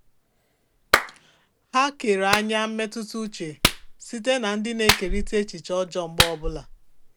Ha kere anya mmetụta uche site na ndị na-ekerịta echiche ọjọọ mgbe niile.